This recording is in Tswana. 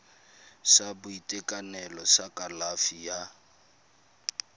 sa boitekanelo sa kalafi ya